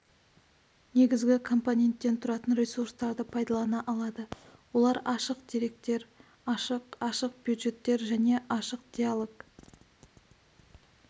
негізгі компоненттен тұратын ресурстарды пайдалана алады олар ашық деректер ашық ашық бюджеттер және ашық диалог